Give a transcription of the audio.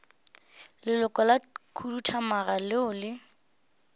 leloko la khuduthamaga leo le